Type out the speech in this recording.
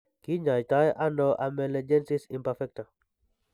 Kiny'aayto nano amelogenesis imperfecta?